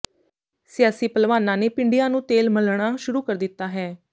ਸਿਆਸੀ ਭਲਵਾਨਾਂ ਨੇ ਪਿੰਡਿਆਂ ਨੂੰ ਤੇਲ ਮਲਣਾ ਸ਼ੁਰੂ ਕਰ ਦਿੱਤਾ ਹੈ